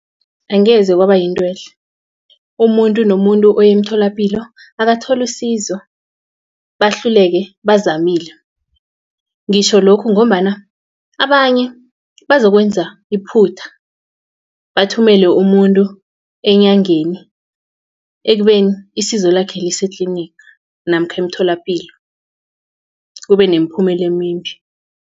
Angeze kwaba yintwehle umuntu nomuntu oya emtholapilo akathole isizo bahluleke bazamile. Ngitjho lokhu ngombana abanye bazokwenza iphutha bathumele umuntu enyangeni ekubeni isizo lakhe lisetliniga namkha emtholapilo kube nemiphumela emimbi.